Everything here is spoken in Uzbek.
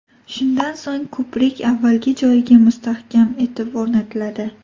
Shundan so‘ng ko‘prik avvalgi joyiga mustahkam etib o‘rnatiladi.